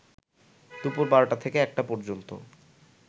দুপুর ১২টা থেকে ১টা পর্যন্ত